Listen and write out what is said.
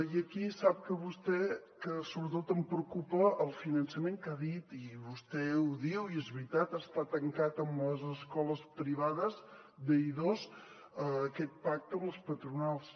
i aquí sap vostè que sobretot em preocupa el finançament que ha dit i vostè ho diu i és veritat que està tancat en les escoles privades d’i2 aquest pacte amb les patronals